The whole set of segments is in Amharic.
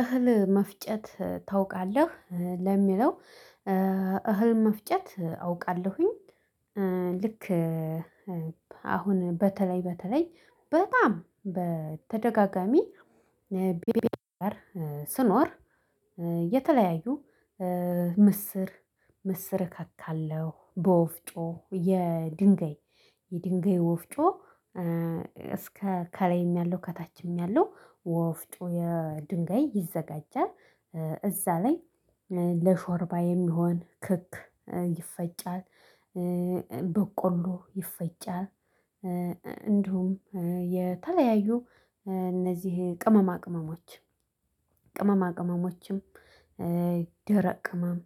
እህል መፍጨት ታውቃለህ ለሚለው? እህል መፍጨት አውቃለሁኝ። ልክ። አሁን በተለይ በተለይ በጣም በተደጋጋሚ ባሌ ጋር ስኖር የተለያዩ ምስር ምስር እከታለሁ በወፍጮ የድንጋይ የድንጋይ ወፍጮ እስከ ከላይም ያለው ከታችም ያለው ወፍጮ የድንጋይ ይዘጋጃል። እዛ ላይ ለሾርባ የሚሆን ክክ ይፈጫል በቆሎ ይፈጫል። እንዲሁም የተለያዩ እነዚህ ቅመማ ቅመሞች ቅመማ ቅመሞችም ደረቅ ቅመም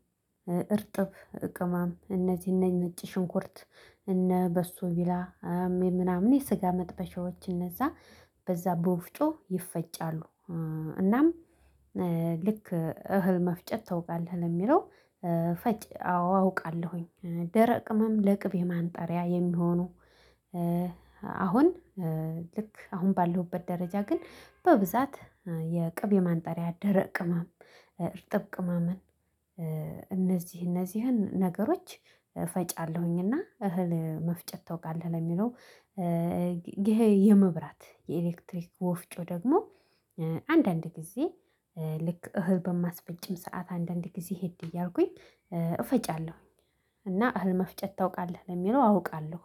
እርጥብ ቅመም እነዚህ እነ ነጭ ሽንኩርት እነ በሶ ቢላ ሜ ምናምን የስጋ መጥበሻዎች እነዛ በዛ በወፍጮ ይፈጫሉ። እናም ልክ እህል መፍጨት ታውቃለህ ለሚለው? ፈጭ አውቃለሁኝ ደረቅ ቅምም ለቅቤ ማንጠሪያ የሚሆኑ። አሁን ልክ አሁን ባለሁበት ደረጃ ግን በብዛት የቅቤ ማንጠሪያ ደረቅ ቅማም እርጥብ ቅመምን እነዚህ እነዚህን ነገሮች ፈጫለሁኝ። እና እህል መፍጨት ታውቃለህ ለሚለው? ይሄ የመብራት የኤሌክትሪክ ወፍጮ ደግሞ አንዳንድ ጊዜ ልክ እህል በማስፈጭም ሰዓት አንዳንድ ጊዜ ሄድ እያልኩኝ እፈጫለሁኝ። እና እህል መፍጨት ታውቃለህ ለሚለው? አውቃለሁ።